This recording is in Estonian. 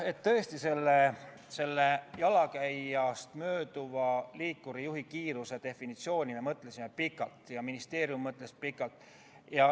Jaa, tõesti, selle jalakäijast mööduva liikurijuhi kiiruse definitsiooni üle me mõtlesime pikalt ja ka ministeerium mõtles pikalt.